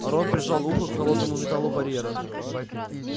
рон прижал ухо к холодному металлу барьера